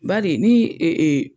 Baari ni